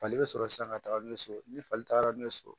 Fali bɛ sɔrɔ sisan ka taga n'u ye so ni fali taara n'u ye so